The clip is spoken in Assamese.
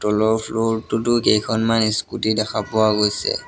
তলৰ ফ্লোৰটোটো কেইখনমান ইস্কুটি দেখা পোৱা গৈছে।